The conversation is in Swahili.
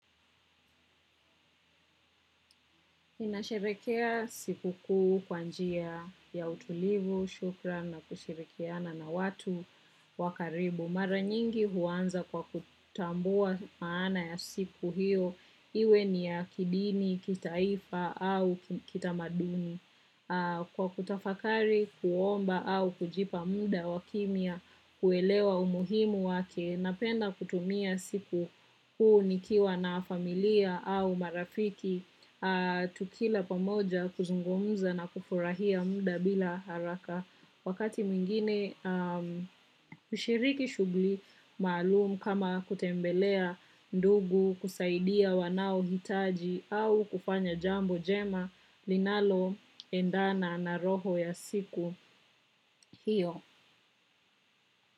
Inasherekea siku kuu kwanjia ya utulivu, shukran na kushirikiana na watu wakaribu. Mara nyingi huanza kwa kutambua maana ya siku hiyo iwe ni ya kidini kitaifa au kitamadini. Kwa kutafakari, kuomba au kujipa muda wakimya, kuelewa umuhimu wake, napenda kutumia siku huu nikiwa na familia au marafiki, tukila pamoja kuzungumza na kufurahia mda bila haraka. Wakati mwingine ushiriki shugli maalum kama kutembelea ndugu kusaidia wanao hitaji au kufanya jambo jema linalo endana naroho ya siku hiyo.